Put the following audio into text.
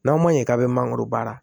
N'a ma ɲɛ k'a bɛ mangoro baara